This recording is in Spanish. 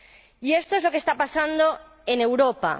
Y esto es lo que está pasando en Europa.